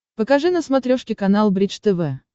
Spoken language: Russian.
покажи на смотрешке канал бридж тв